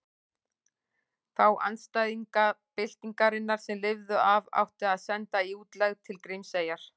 Þá andstæðinga byltingarinnar sem lifðu af átti að senda í útlegð til Grímseyjar.